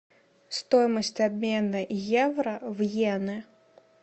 стоимость обмена евро в йены